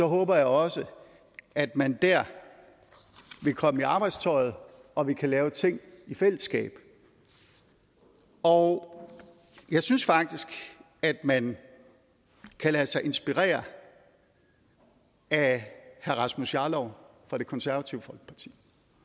håber jeg også at man der vil komme i arbejdstøjet og at vi kan lave ting i fællesskab og jeg synes faktisk at man kan lade sig inspirere af herre rasmus jarlov fra det konservative folkeparti